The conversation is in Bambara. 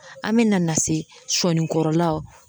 An me na na se sɔni kɔrɔlaw